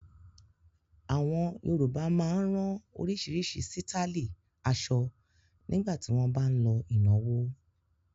Àwọn Yorùbá máa ń rán oríṣiríṣi sítáálì aṣọ nígbà tí wọ́n bá ń lọ ìnáwó.